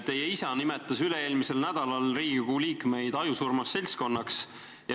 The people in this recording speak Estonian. Teie isa nimetas üle-eelmisel nädalal Riigikogu liikmeid ajusurmas seltskonnaks.